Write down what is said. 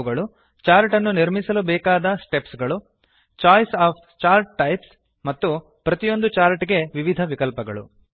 ಅವುಗಳು ಚಾರ್ಟ್ ಅನ್ನು ನಿರ್ಮಿಸಲು ಬೇಕಾದ ಸ್ಟೆಪ್ಸ್ ಗಳು ಚೋಯಿಸ್ ಒಎಫ್ ಚಾರ್ಟ್ ಟೈಪ್ಸ್ ಮತ್ತು ಪ್ರತಿಯೊಂದು ಚಾರ್ಟ್ ಗೆ ವಿವಿಧ ವಿಕಲ್ಪಗಳು